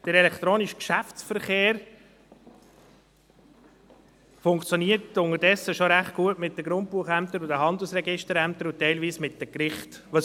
Der elektronische Geschäftsverkehr funktioniert unterdessen mit den Grundbuchämtern und den Handelsregisterämtern sowie teilweise mit den Gerichten schon recht gut.